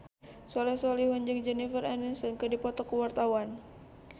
Soleh Solihun jeung Jennifer Aniston keur dipoto ku wartawan